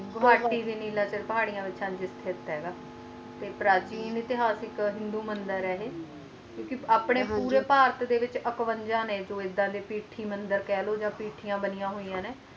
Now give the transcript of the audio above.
ਗੁਵਾਤੀ ਦੀ ਨੀਲੇ ਪੁਰ ਪਹਾੜੀ ਤੇ ਪ੍ਰਾਚੀਨ ਇਕ ਇਤ੍ਹਿਹਾਸਿਕ ਮੰਦਿਰ ਹੈਗਾ ਕਿਉਂ ਕ ਆਪਣੇ ਪੂਰੇ ਪਾਰਥ ਦੇ ਵਿਚ ਅਕਵੰਜਾ ਹੈ ਨੇ ਕੋਈ ਇੱਦਾ ਦੇ ਕਹਿ ਲੋ ਪਿਠ ਦੇ ਤੇ ਪਿੱਠਆਂ ਬੰਨੀਆਂ ਹੋਵਾਂ ਨੇ